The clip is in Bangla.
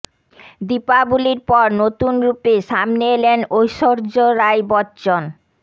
দীপাবলির পর নতুন রূপে সামনে এলেন ঐশ্বর্য রাই বচ্চন